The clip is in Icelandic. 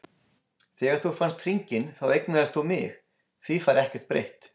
Þegar þú fannst hringinn þá eignaðist þú mig, því fær ekkert breytt.